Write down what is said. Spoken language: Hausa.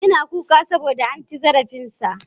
Yana kuka saboda an ci zarafin sa.